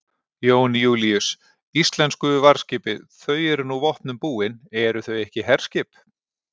Jón Júlíus: Íslensku varðskipið þau eru nú vopnum búin, eru þau ekki herskip?